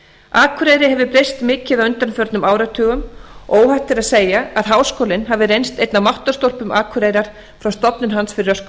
akureyri hefur breyst mikið á undanförnum áratugum og óhætt er að segja að háskólinn hafi reynst einn af máttarstólpum akureyrar frá stofnun hans fyrir röskum